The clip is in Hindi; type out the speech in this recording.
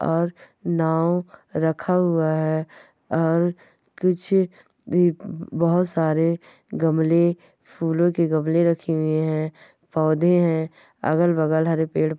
और नाव रखा हुआ है और कुछ इ ब-बहुत सारे गमले फूलों के गमले रखे हुए हैं पौधे हैं अगल-बगल हरे पेड़--